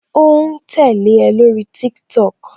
O ń tẹ́lẹ̀ o lórí TikTok